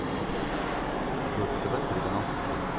джой показать телеканал футбол